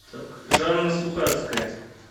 жанна сухацкая